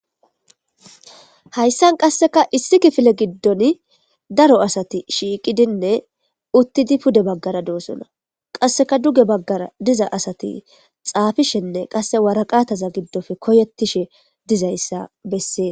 Hayssan qasseka issi kifile giddon daro asati shiiqidinne uttidi pude baggara doosuna qasseka duge baggara diza asati xaafishenne qasse waraqataza giddofe koyettishe dizayssa bessee.